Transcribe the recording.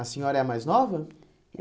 A senhora é a mais nova?